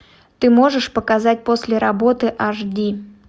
ты можешь показать после работы аш ди